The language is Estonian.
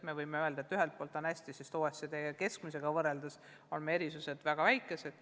Me võime öelda, et ühelt poolt on hästi, sest OECD keskmisega võrreldes on erisused väga väikesed.